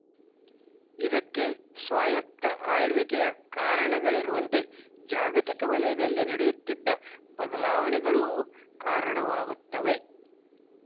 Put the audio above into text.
ಇದಕ್ಕೆ ಸ್ವಾಯತ್ತ ಆಳ್ವಿಕೆಯ ಕಾರಣಗಳಿರುವಂತೆ ಜಾಗತಿಕ ವಲಯದಲ್ಲಿ ನಡೆಯುತ್ತಿದ್ದ ಬದಲಾವಣೆಗಳೂ ಕಾರಣವಾಗುತ್ತವೆ